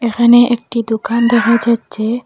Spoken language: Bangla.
এখানে একটি দোকান দেখা যাচ্ছে।